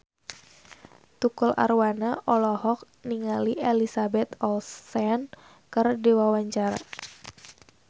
Tukul Arwana olohok ningali Elizabeth Olsen keur diwawancara